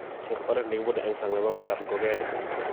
chob oret nekibune eng sang nebo kotab ngogenik